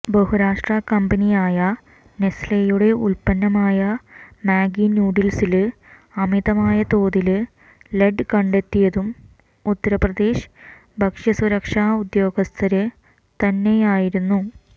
ബഹുരാഷ്ട്ര കമ്പനിയായ നെസ് ലെയുടെ ഉത്പന്നമായ മാഗി നൂഡില്സില് അമിതമായ തോതില് ലെഡ് കണ്ടെത്തിയതും ഉത്തര്പ്രദേശ് ഭക്ഷ്യസുരക്ഷാ ഉദ്യോഗസ്ഥര് തന്നെയായിരുന്നു